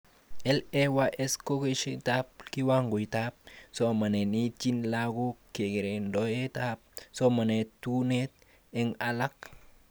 LAYS kokeshetikab kiwangoitab somanet neitini laguk, kararaindoab somanet, tugunet eng alak